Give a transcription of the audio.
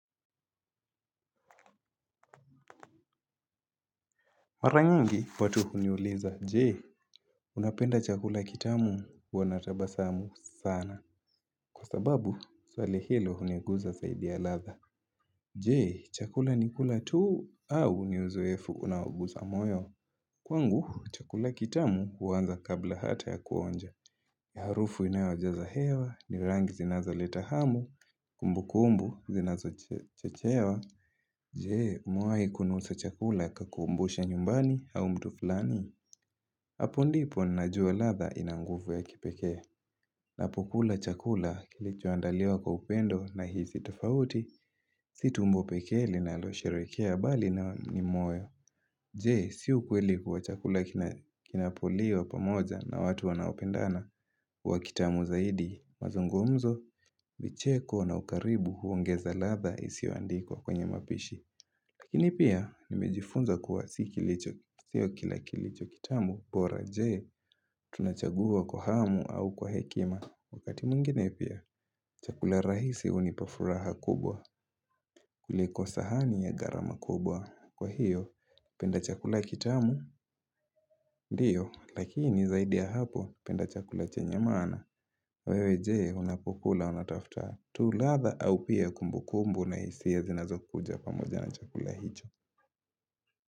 Mara nyingi watu huniuliza, je, unapenda chakula kitamu huwa natabasamu sana, kwa sababu, swali hilo huniguza zaidi ya ladha. Je, chakula ni kula tu au ni uzoefu unaoguza moyo. Kwangu, chakula kitamu uanza kabla hata ya kuonja. Harufu inayojaza hewa, ni rangi zinazoleta hamu, kumbukumbu, zinazochechewa. Je, umewahi kunusa chakula ikakumbusha nyumbani au mtu fulani. Hapo ndipo najua ladha ina nguvu ya kipekee. Napokula chakula kilicho andaliwa kwa upendo na hizi tofauti. Si tumbo peke linalosherekea bali na ni moyo. Je si ukweli kuwa chakula kinapoliwa pamoja na watu wanaopendana huwa kitamu zaidi. Mazungumzo, vicheko na ukaribu huongeza ladha isiyo andikwa kwenye mapishi. Lakini pia, nimejifunza kuwa si kila kilicho kitamu, bora je, tunachagua kwa hamu au kwa hekima. Wakati mwingine pia, chakula rahisi hunipa furaha kubwa, kuliko sahani ya gharama kubwa. Kwa hiyo, penda chakula kitamu, ndiyo, lakini zaidi ya hapo, penda chakula chenye maana. Wewe je, unapokula, unatafuta. Tu ladha au pia kumbukumbu na hisia zinazokuja pamoja na chakula hicho.